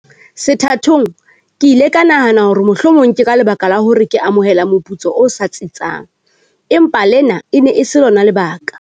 Sethathong ke ile ka nahana hore mohlomong ke ka lebaka la hobane ke amohela moputso o sa tsitsang, empa lena e ne e se lona lebaka.